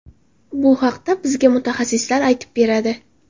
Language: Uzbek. Bu haqda bizga mutaxassislar aytib beradi.